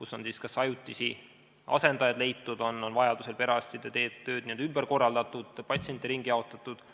Seal on siis kas leitud ajutisi asendajaid, vajaduse korral perearstide tööd ümber korraldatud või patsiente ringi jaotatud.